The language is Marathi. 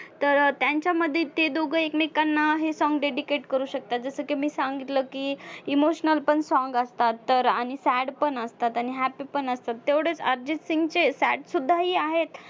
तर अं त्यांच्यामध्ये ते दोघं एकमेकांना हे song dedicate करू शकता जसं की मी सांगितलं की emotional पण song असतात तर आणि sad पण असतात आणि happy पण असतात. तेवढंच अर्जितसिंगचे sad सुद्धाही आहेत.